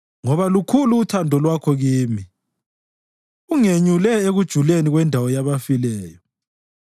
Ngoba lukhulu uthando lwakho kimi; ungenyule ekujuleni kwendawo yabafileyo.